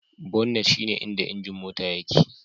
Bonnet shine inda injin Mota yake